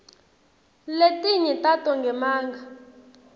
letinye tato ngemanga